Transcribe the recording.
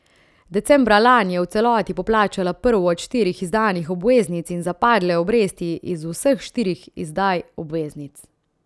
Decembra lani je v celoti poplačala prvo od štirih izdanih obveznic in zapadle obresti iz vseh štirih izdaj obveznic.